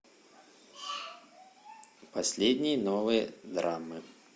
последние новые драмы